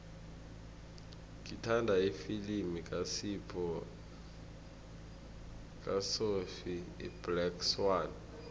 ngithanda ifilimu kasophie iblack swann